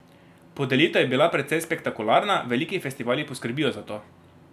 Podelitev je bila precej spektakularna, veliki festivali poskrbijo za to.